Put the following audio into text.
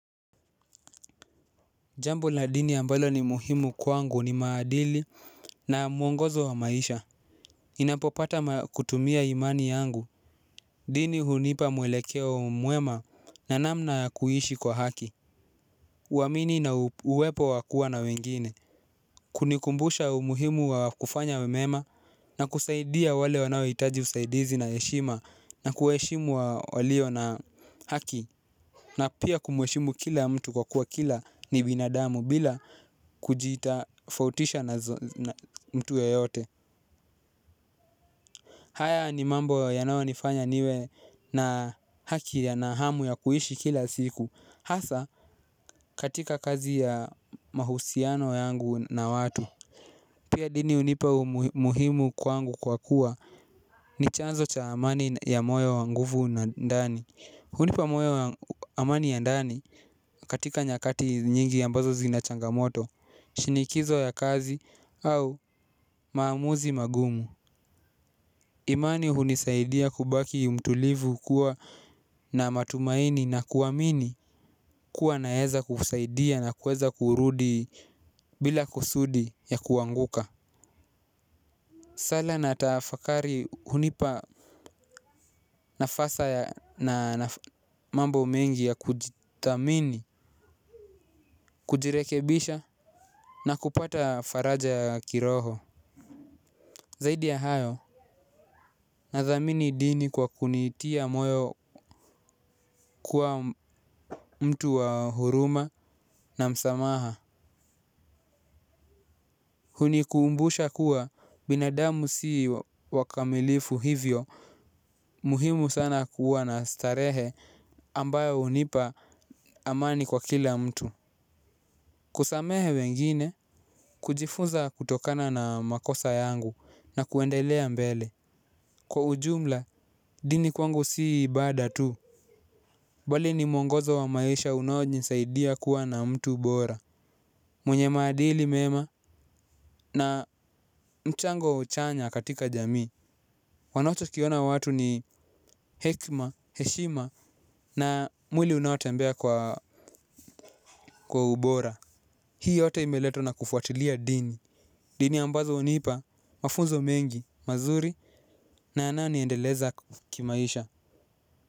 Jambo la dini ambalo ni muhimu kwangu ni maadili na mwongozo wa maisha. Ninapopata kutumia imani yangu. Dini hunipa mwelekeo mwema na namna ya kuishi kwa haki. Huaamini na uwepo wa kuwa na wengine. Kunikumbusha umuhimu wa kufanya mema na kusaidia wale wanaohitaji usaidizi na heshima na kuheshimu walio na haki. Na pia kumweshimu kila mtu kwa kuwa kila ni binadamu bila kujitofautisha na mtu yeyote. Haya ni mambo yanaonifanya niwe na haki ya na hamu ya kuishi kila siku. Hasa katika kazi ya mahusiano yangu na watu. Pia dini hunipa muhimu kwangu kwa kuwa ni chanzo cha amani ya moyo wa nguvu na ndani. Hunipa moyo wa amani ya ndani katika nyakati nyingi ambazo zinachangamoto, shinikizo ya kazi au maamuzi magumu. Imani hunisaidia kubaki mtulivu kuwa na matumaini na kuamini kuwa naeza kusaidia na kuweza kurudi bila kusudi ya kuanguka. Sala na tafakari hunipa nafasa na mambo mengi ya kujithamini, kujirekebisha. Na kupata faraja ya kiroho zaidi ya hayo nathamini dini kwa kunitia moyo kuwa mtu wa huruma na msamaha. Hunikuumbusha kuwa binadamu sii wakamilifu hivyo. Muhimu sana kuwa na starehe ambayo hunipa amani kwa kila mtu. Kusamehe wengine kujifunza kutokana na makosa yangu na kuendelea mbele. Kwa ujumla, dini kwangu si ibada tu. Bali ni mwongozo wa maisha unaonisaidia kuwa na mtu bora. Mwenye maadili mema na mchango chanya katika jamii. Wanacho kiona watu ni hekima, heshima na mwili unaotembea kwa ubora. Hii yote imeletwa na kufuatilia dini. Dini ambazo hunipa, mafunzo mengi, mazuri na yananiendeleza kimaisha.